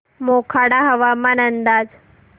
मोखाडा हवामान अंदाज